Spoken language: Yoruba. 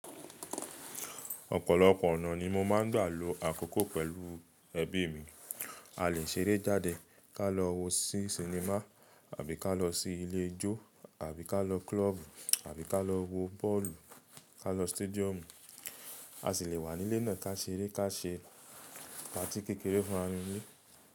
Ọ̀pọ̀lọpọ̀ ònà ni mó máa n gbà ló àkókò pèlú ẹ̀bi mí. À lé ṣeré jàdẹ, kà lọ wọ̀ sinimá, àbí kà lọ sí ilé ijó, àbí kà lọ klòbú, àbí kà lọ wọ̀ bọ́ọ̀lù, kà lọ stádíọ̀mú. À sí lè wà nílé náà kà ṣeré, kà ṣé pàti kékeré fún ràmi nilé.